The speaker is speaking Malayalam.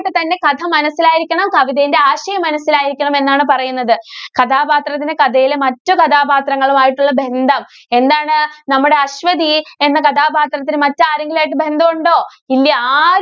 ട്ട് തന്നെ കഥ മനസിലായിരിക്കണം. കവിതേൻറെ ആശയം മനസ്സിലായിരിക്കണം എന്നാണ് പറയുന്നത്. കഥാപാത്രത്തിന് കഥയിലെ മറ്റു കഥാപാത്രങ്ങളുമായിട്ടുള്ള ബന്ധം എന്താണ്? നമ്മുടെ അശ്വതി എന്ന കഥാപാത്രത്തിന് മറ്റ് ആരെങ്കിലുമായിട്ട് ബന്ധം ഉണ്ടോ? ഇല്യ. ആരു~